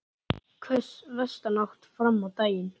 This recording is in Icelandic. Hvöss vestanátt fram á daginn